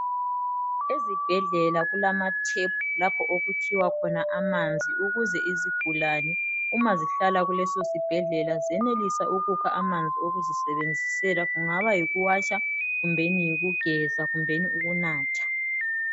Ezibhedlela kulama tap lapho okukhiwa khona amanzi ukuze izigulane uma zihlala kuleso sibhedlela zenelise ukukha amanzi okuzisebenzisela kungaba yikuwatsha kumbeni yikugeza kumbeni ukunatha.